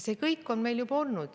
See kõik on meil juba olnud.